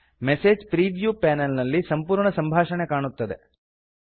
message preview panel ನಲ್ಲಿ ಸಂಪೂರ್ಣ ಸಂಭಾಷಣೆ ಕಾಣುತ್ತದೆ